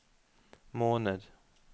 måned